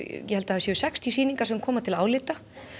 ég held að það séu sextíu sýningar sem koma til álit